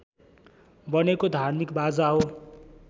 बनेको धार्मिक बाजा हो